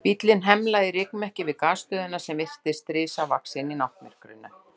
Bíllinn hemlaði í rykmekki við Gasstöðina sem virtist risavaxin í náttmyrkrinu.